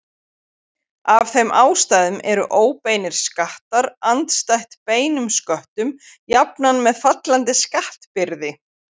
Af þeim ástæðum eru óbeinir skattar andstætt beinum sköttum jafnan með fallandi skattbyrði.